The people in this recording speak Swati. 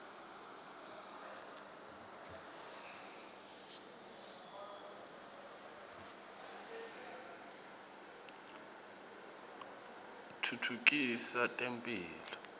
atfutfukisa temphilo